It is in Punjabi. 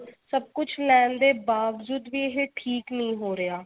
ਸਭ ਕੁੱਝ ਲੈਣ ਦੇ ਬਾਵਜੂਦ ਵੀ ਇਹ ਠੀਕ ਨਹੀਂ ਹੋ ਰਿਹਾ